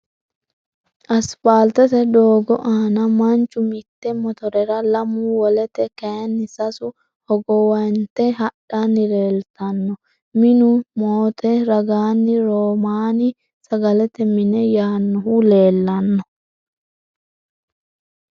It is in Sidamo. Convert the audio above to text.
Asfaaltete doogo aana Manchu mitte motorera lamu wolete kayinni sasu hogowanye hadhanni leeltanno. Minu motto ragaanni romaani sagalete mine yaannohu leellanno.